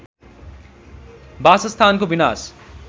वासस्थानको विनाश